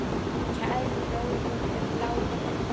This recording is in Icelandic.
Kær bróðir er látinn.